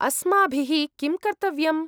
अस्माभिः किं कर्तव्यम्?